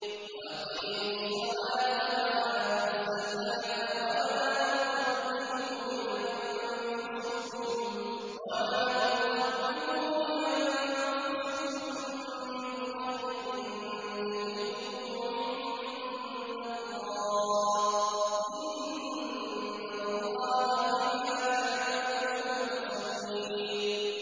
وَأَقِيمُوا الصَّلَاةَ وَآتُوا الزَّكَاةَ ۚ وَمَا تُقَدِّمُوا لِأَنفُسِكُم مِّنْ خَيْرٍ تَجِدُوهُ عِندَ اللَّهِ ۗ إِنَّ اللَّهَ بِمَا تَعْمَلُونَ بَصِيرٌ